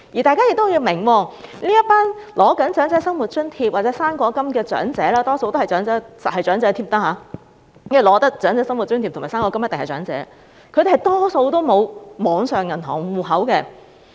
大家要明白，這些正在領取長者生活津貼或"生果金"的長者——他們一定是長者，領取長者生活津貼和"生果金"的一定是長者——他們大多數沒有網上銀行戶口。